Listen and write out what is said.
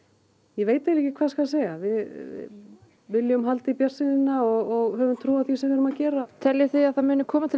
ég veit ekki hvað skal segja við viljum halda í bjartsýnina og höfum trú á því sem við erum að gera teljið þið að það muni koma til